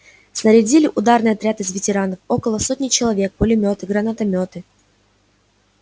снарядили ударный отряд из ветеранов около сотни человек пулемёты гранатомёты